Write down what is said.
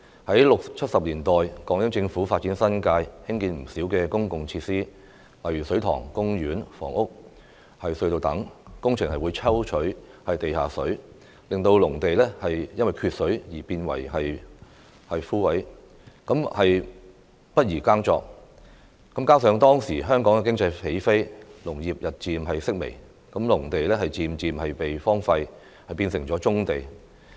在六七十年代，港英政府發展新界，興建不少公共設施，例如水塘、公園、房屋、隧道等，工程會抽取地下水，令農地因缺水而變為乾涸，不宜耕作，加上當時香港經濟起飛，農業日漸式微，農地漸漸被荒廢，變成了棕地。